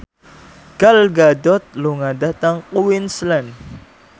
Gal Gadot lunga dhateng Queensland